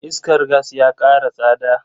Iskar gas ya kara tsada.